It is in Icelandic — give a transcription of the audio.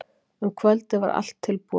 Um kvöldið var allt tilbúið.